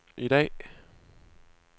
i dag